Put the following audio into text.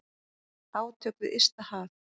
Átök við ysta haf.